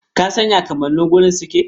Ka san ya kamannin wuri suke?